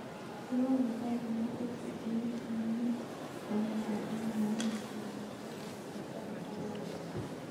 Ndewon nafas nepo teksi en amune komutan en yu ami nguni yekakopata sait agenge